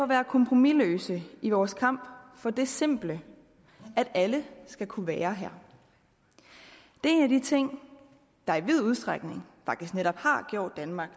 være kompromisløse i vores kamp for det simple at alle skal kunne være her det er en af de ting der i vid udstrækning faktisk netop har gjort danmark